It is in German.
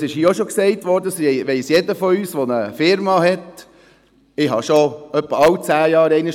Es wurde bereits erwähnt, und jeder von uns, der eine Firma hat, weiss das.